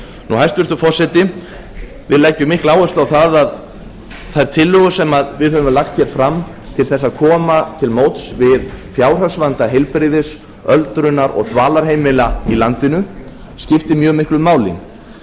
hæstvirtur forseti við leggjum mikla áherslu á það að þær tillögur sem við höfum lagt fram til að koma til móts á fjárhagsvanda heilbrigðis öldrunar og dvalarheimila í landinu skiptir mjög miklu máli